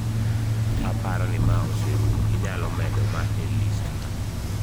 Aparo ni ma oserumo. Inyalo medo ma e listna.